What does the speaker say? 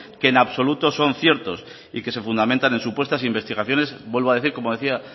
que en absoluto son ciertos y que se fundamentan en supuestas investigaciones vuelvo a decir como decía